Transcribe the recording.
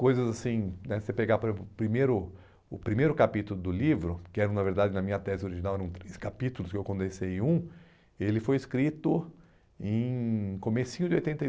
coisas assim né, se você pegar primeiro, o primeiro capítulo do livro, que era, na verdade, na minha tese original, eram três capítulos, que eu condensei em um, ele foi escrito em comecinho de oitenta e